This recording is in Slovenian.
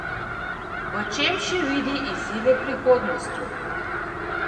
V čem še vidi izzive prihodnosti?